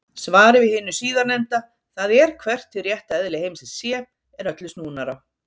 Svarið við hinu síðarnefnda, það er hvert hið rétta eðli heimsins sé, er öllu snúnara.